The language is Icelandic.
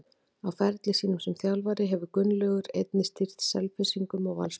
Á ferli sínum sem þjálfari hefur Gunnlaugur einnig stýrt Selfyssingum og Valsmönnum.